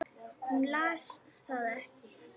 Hún las það ekki.